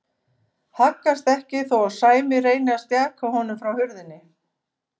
Haggast ekki þó að Sæmi reyni að stjaka honum frá hurðinni.